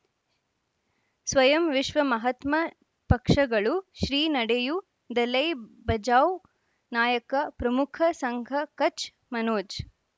ಸ್ವಯಂ ವಿಶ್ವ ಮಹಾತ್ಮ ಪಕ್ಷಗಳು ಶ್ರೀ ನಡೆಯೂ ದಲೈ ಬಚೌ ನಾಯಕ ಪ್ರಮುಖ ಸಂಘ ಕಚ್ ಮನೋಜ್